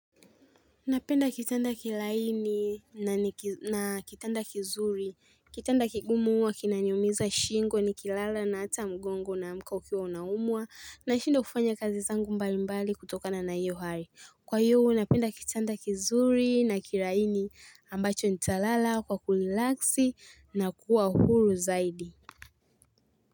Napenda kitanda kilaini na kitanda kizuri, kitanda kigumu uwa kinaniumiza shingo ni kilala na hata mgongo una mka ukiwa unaumwa na shindwa kufanya kazi zangu mbali mbali kutokana na hiyo hari. Kwa hiyo, napenda kitanda kizuri na kilaini ambacho nitalala kwa kulilaksi na kuwa huru zaidi.